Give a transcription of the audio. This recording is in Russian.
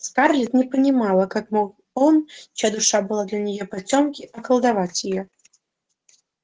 скарлетт не понимала как мог он чья душа была для нее потёмки околдовать её